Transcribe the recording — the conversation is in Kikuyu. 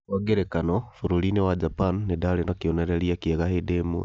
Kwa ngerekano, bũrũri-inĩ wa Japan, nĩ ndaarĩ na kĩonereria kĩega hĩndĩ ĩmwe.